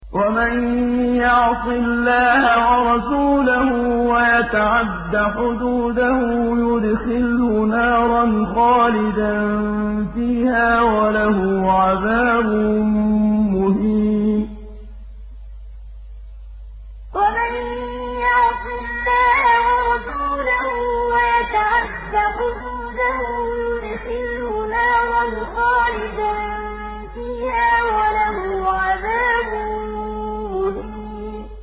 وَمَن يَعْصِ اللَّهَ وَرَسُولَهُ وَيَتَعَدَّ حُدُودَهُ يُدْخِلْهُ نَارًا خَالِدًا فِيهَا وَلَهُ عَذَابٌ مُّهِينٌ وَمَن يَعْصِ اللَّهَ وَرَسُولَهُ وَيَتَعَدَّ حُدُودَهُ يُدْخِلْهُ نَارًا خَالِدًا فِيهَا وَلَهُ عَذَابٌ مُّهِينٌ